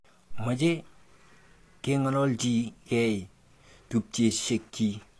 Meche keng'alalchi kei tupchesyekchi.